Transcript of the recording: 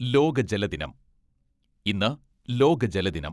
ലോക ജലദിനം ഇന്ന് ലോക ജലദിനം.